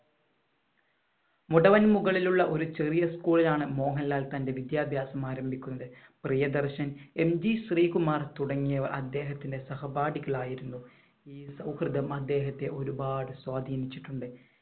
മുടവൻ മുകളിലുള്ള ഒരു ചെറിയ school ലാണ് മോഹൻലാൽ തന്‍റെ വിദ്യാഭ്യാസം ആരംഭിക്കുന്നത്. പ്രിയദർശൻ, എം ജി ശ്രീകുമാർ തുടങ്ങിയവർ അദ്ദേഹത്തിന്‍റെ സഹപാഠികൾ ആയിരുന്നു. ഈ സൗഹൃദം അദ്ദേഹത്തെ ഒരുപാട് സ്വാധീനിച്ചിട്ടുണ്ട്.